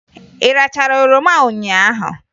Ị rachara oroma ụnyaahụ?